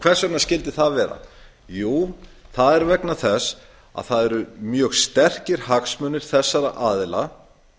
hvers vegna skyldi það vera jú það er vegna þess að það eru mjög sterkir hagsmunir þessara aðila